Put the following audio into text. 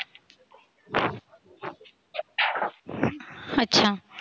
अच्छा.